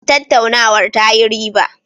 Tattaunawar ta yi riba.